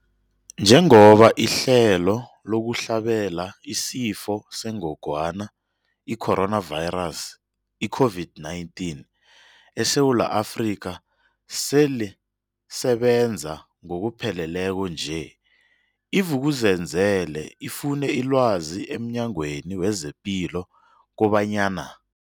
Njengoba ihlelo lokuhlabela isiFo sengogwana i-Corona, i-COVID-19, eSewula Afrika selisebenza ngokupheleleko nje, i-Vuk'uzenzele ifune ilwazi emNyangweni wezePilo kobanyana.